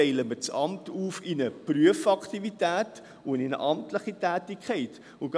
Teilen wir das Amt in eine Prüfaktivität und in eine amtliche Tätigkeit auf?